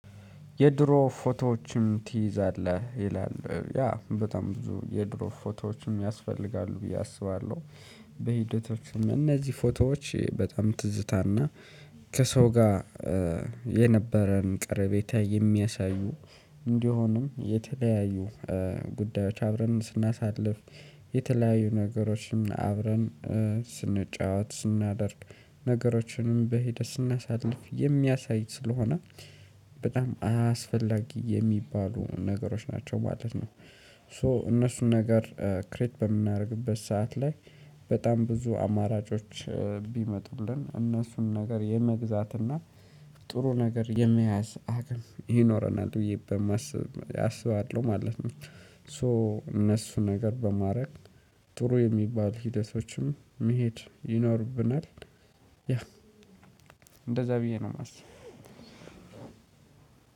የድሮ ፎቶዎችም ትይዛለህ ይላል ያ በጣም ብዙ የድሮ ፎቶዎችም ያስፈልጋሉ ብዬ አስባለሁ። በሂደቶችም እነዚህ ፎቶዎች በጣም ትዝታና ከሰው ጋር የነበረን ቀረቤታ የሚያሳዩ እንዲሆንም የተለያዩ ጉዳዮች አብረን ስናሳልፍ የተለያዩ ነገሮችን አብረን ስንጫወት ስናደርግ ነገሮችንም በሂደት ስናሳልፍ የሚያሳይ ስለሆነ በጣም አስፈላጊ የሚባሉ ነገሮች ናቸው ማለት ነው። ሶ እነሱን ነገር ክሬት በምናደርግበት ሰዓት ላይ በጣም ብዙ አማራጮች ቢመጡልን እነሱን ነገር የመግዛትና ጥሩ ነገር የመያዝ አቅም ይኖረናል ብዬ በማስብ አስባለሁ ማለት ነው። ሶ እነሱ ነገር በማድረግ ጥሩ የሚባል ሂደቶችም መሄድ ይኖርብናል። ያ እንደዛ ብዬ ነው የማስበው።